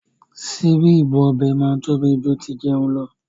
Síbí ibú ọbẹ̀ máa ń tóbi jù tí ìjẹun lọ.